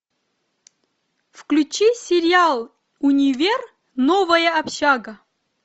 включи сериал универ новая общага